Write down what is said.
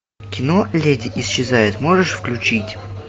кино леди исчезает можешь включить